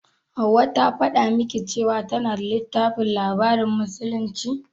Hauwa ta faɗa miki cewa tana da littafin labarin musulunci?